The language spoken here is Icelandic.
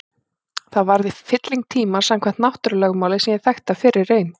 Það varð í fylling tímans samkvæmt náttúrulögmáli sem ég þekkti af fyrri reynd.